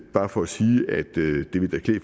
bare for at sige